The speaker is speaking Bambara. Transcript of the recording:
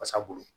Wasa bolo